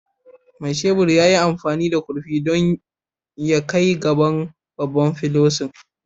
Mai shebur ya yi amfani da kurfi ɗin don ya kai gaban babban felunsa